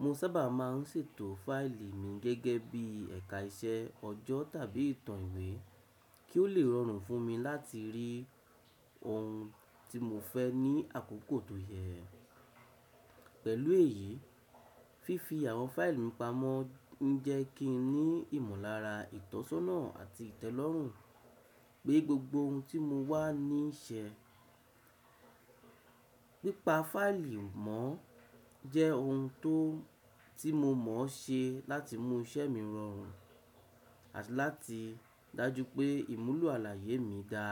Mo sábà máa ń ṣètò fáìlì mi gẹ́gẹ́ bí ẹ̀ka iṣẹ́, ọjọ́ tàbí ìtàn ìwé kí ó lè rọrùn fún mi láti rí ohun tí mo fẹ́ ní àkókò tó yẹ. Pẹ̀lú èyí, fífi àwọn fáìlì mi pamọ́ ń jẹ́ kí n ní ìmọ̀lára, ìtọ́sọ́nà àti ìtẹ́lọ́rùn pé gbogbo ohun tí mo wá ní í ṣe. Pípa fáìlì mọ́ jẹ́ ohun tó tí mo mọ̀ ṣe láti mú iṣẹ́ mi rọrùn àti láti dájú pé ìmúlò àlàyé mi ga.